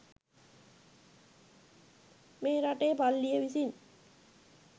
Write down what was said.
මේ රටේ පල්ලිය විසින්